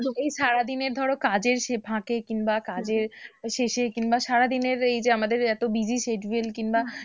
এই সারাদিনের ধরো কাজের ফাঁকে কিংবা কাজের শেষে কিংবা সারাদিনের এই যে আমাদের এত busy schedule